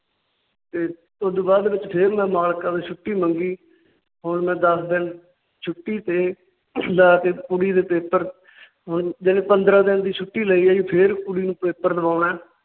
ਤੇ ਉਸ ਤੋਂ ਬਾਅਦ ਵਿਚ ਫਿਰ ਮੈਂ ਮਾਲਕਾਂ ਤੋਂ ਛੁੱਟੀ ਮੰਗੀ। ਹੁਣ ਮੈਂ ਦੱਸ ਦਿਨ ਛੁੱਟੀ ਤੇ ਜਾ ਕੇ ਕੁੜੀ ਦੇ ਪੇਪਰ ਹੁਣ ਪੰਦਰਾਂ ਦਿਨ ਦੀ ਛੁੱਟੀ ਲਈ ਹੈ ਜੀ। ਫਿਰ ਕੁੜੀ ਨੂੰ ਪੇਪਰ ਦਵਾਉਣਾ ਹੈ ।